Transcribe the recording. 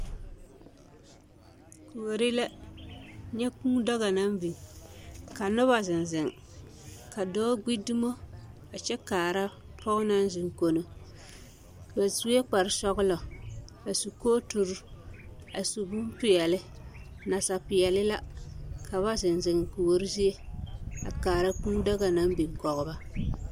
Kuori la nyɛ kuu daga naŋ biŋ ka noba zeŋ zeŋ ka dɔɔ gbi dumo a kyɛ kaara pɔge naŋ zeŋ kono kyɛ ba sue kparsɔglɔ a su kooturi a su bonpeɛlle nasapeɛlle la ka ba zeŋ zeŋ kuori zie a kaara a kaara kuu daga naŋ biŋ kɔge ba.